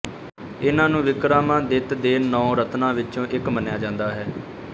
ਇਨ੍ਹਾਂ ਨੂੰ ਵਿਕਰਮਾਦਿੱਤ ਦੇ ਨੌਂ ਰਤਨਾਂ ਵਿੱਚੋਂ ਇੱਕ ਮੰਨਿਆ ਜਾਂਦਾ ਹੈ